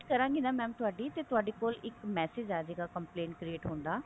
ਕਰਾਂਗੀ ਨਾ mam ਤੁਹਾਡੀ ਕੋਲ ਇੱਕ message ਅਜਾਵੇਗਾ complaint complete ਹੋਣ ਦਾ